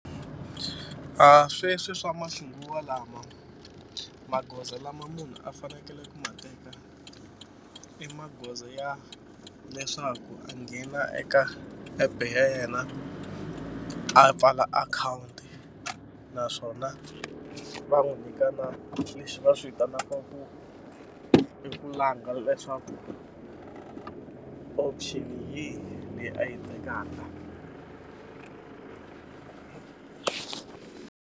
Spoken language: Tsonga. Sweswi swa maxinguvalawa magoza lama munhu a fanekele ku ma teka i magoza ya leswaku a nghena eka app ya yena a pfala akhawunti naswona va n'wi nyika na leswi va swi vitanaka ku i ku langa leswaku option yihi leyi a yi tekaka.